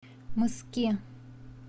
мыски